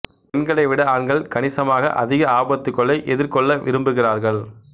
பெண்களை விட ஆண்கள் கணிசமாக அதிக ஆபத்துக்களை எதிர்கொள்ள விரும்புகிறார்கள்